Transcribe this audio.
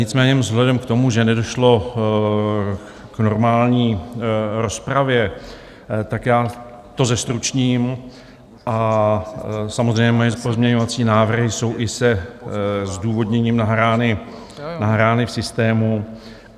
Nicméně vzhledem k tomu, že nedošlo k normální rozpravě, tak já to zestručním a samozřejmě moje pozměňovací návrhy jsou i se zdůvodněním nahrány v systému.